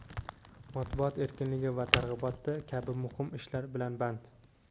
matbuot erkinligi targ‘iboti kabi muhim ishlar bilan band.